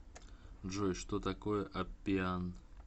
джой что такое аппиан